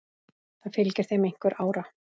Það fylgir þeim einhver ára.